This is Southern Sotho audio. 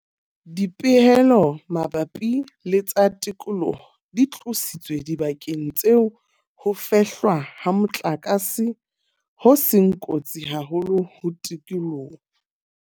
Dipehelo mabapi le tsa tikoloho di tlositswe dibakeng tseo ho fehlwa ha motlakase ho seng kotsi haholo ho tikoloho.